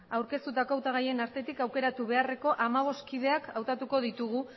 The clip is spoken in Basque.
aurkeztutako hautagaien artetik aukeratu beharreko hamabost kideak hautatuko ditugu